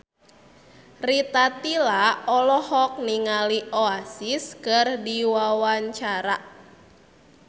Rita Tila olohok ningali Oasis keur diwawancara